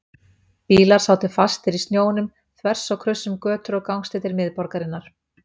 Bílar sátu fastir í snjónum þvers og kruss um götur og gangstéttir miðborgarinnar.